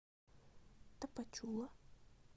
тапачула